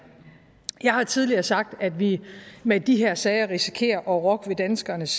jeg har tidligere sagt at vi med de her sager risikerer at rokke ved danskernes